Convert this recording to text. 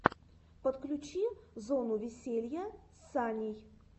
подключи зону веселья с саней